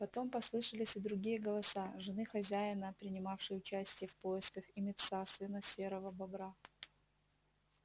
потом послышались и другие голоса жены хозяина принимавшей участие в поисках и мит са сына серого бобра